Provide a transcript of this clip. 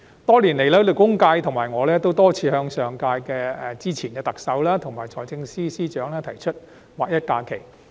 多年來，勞工界和我均多次向上屆特首和財政司司長提出劃一假期。